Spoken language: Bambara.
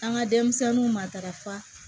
An ka denmisɛnninw matarafa